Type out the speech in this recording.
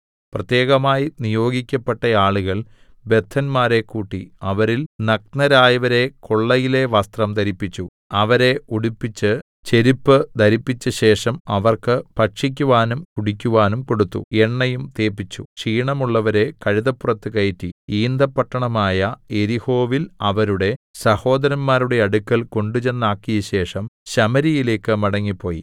പ്രത്യേകമായി നിയോഗിക്കപ്പെട്ട ആളുകൾ ബദ്ധന്മാരെ കൂട്ടി അവരിൽ നഗ്നരായവരെ കൊള്ളയിലെ വസ്ത്രം ധരിപ്പിച്ചു അവരെ ഉടുപ്പിച്ച് ചെരിപ്പ് ധരിപ്പിച്ചശേഷം അവർക്ക് ഭക്ഷിക്കുവാനും കുടിക്കുവാനും കൊടുത്തു എണ്ണയും തേപ്പിച്ചു ക്ഷീണമുള്ളവരെ കഴുതപ്പുറത്ത് കയറ്റി ഈന്തപ്പട്ടണമായ യെരിഹോവിൽ അവരുടെ സഹോദരന്മാരുടെ അടുക്കൽ കൊണ്ടുചെന്നാക്കിയശേഷം ശമര്യയിലേക്ക് മടങ്ങിപ്പോയി